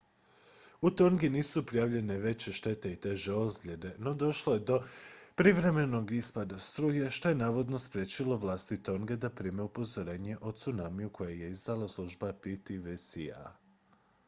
u tongi nisu prijavljene veće štete i teže ozljede no došlo je do privremenog ispada struje što je navodno spriječilo vlasti tonge da prime upozorenje o tsunamiju koje je izdala služba ptwc